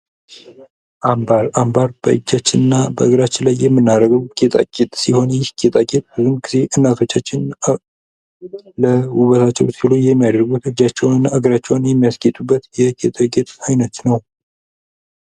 አምባር:- አምባር በእጃችን እና በእግራችይ ላይ የምናደርገዉ ጌጣጌጥ ሲሆን ይህ ጌጣጌጥ ብዙ ጊዜ እናቶች እጃቸዉን እና እግራቸዉን የሚያስጌጡበት አይነት ነዉ።